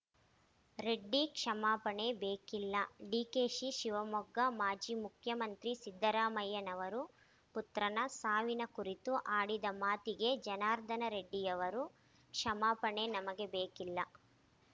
ರೆಡ್ಡಿ ಕ್ಷಮಾಪಣೆ ಬೇಕಿಲ್ಲ ಡಿಕೆಶಿ ಶಿವಮೊಗ್ಗ ಮಾಜಿ ಮುಖ್ಯಮಂತ್ರಿ ಸಿದ್ದರಾಮಯ್ಯನವರು ಪುತ್ರನ ಸಾವಿನ ಕುರಿತು ಆಡಿದ ಮಾತಿಗೆ ಜನಾರ್ದನ ರೆಡ್ಡಿಯವರ ಕ್ಷಮಾಪಣೆ ನಮಗೆ ಬೇಕಿಲ್ಲ